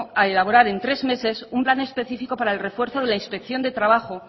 a elaborar en tres meses un plan específico para el refuerzo de la inspección del trabajo